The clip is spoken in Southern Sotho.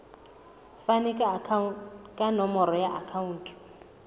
fane ka nomoro ya akhauntu